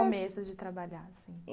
No começo de trabalhar, assim.